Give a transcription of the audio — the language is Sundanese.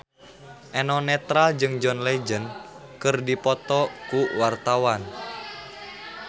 Eno Netral jeung John Legend keur dipoto ku wartawan